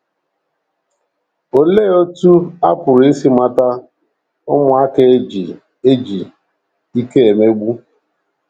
Olee otú a pụrụ isi mata ụmụaka e ji e ji ike emegbu?